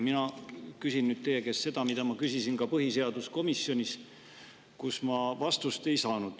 Mina küsin nüüd teie käest seda, mida ma küsisin ka põhiseaduskomisjonis, kus ma vastust ei saanud.